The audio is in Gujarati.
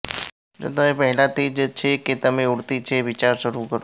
જો તમે પહેલાથી જ છે કે તમે ઉડતી છે વિચારો શરૂ કરો